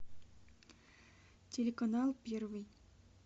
телеканал первый